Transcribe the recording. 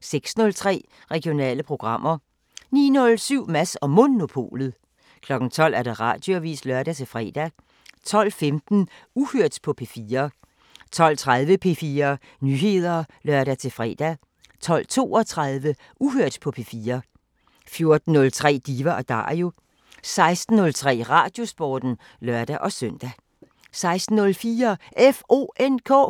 06:03: Regionale programmer 09:07: Mads & Monopolet 12:00: Radioavisen (lør-fre) 12:15: Uhørt på P4 12:30: P4 Nyheder (lør-fre) 12:32: Uhørt på P4 14:03: Diva & Dario 16:03: Radiosporten (lør-søn) 16:04: